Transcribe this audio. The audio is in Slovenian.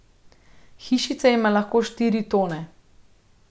Hišica ima lahko štiri tone.